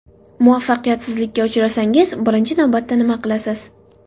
Muvaffaqiyatsizlikka uchrasangiz, birinchi navbatda nima qilasiz?